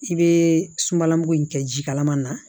I bɛ sunbala mugu in kɛ ji kalaman na